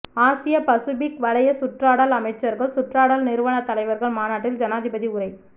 ஆசிய பசுபிக் வலய சுற்றாடல் அமைச்சர்கள் சுற்றாடல் நிறுவன தலைவர்கள் மாநாட்டில் ஜனாதிபதி உரை